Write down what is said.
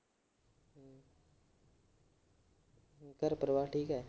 ਘਰ ਪਰਿਵਾਰ ਠੀਕ ਆ।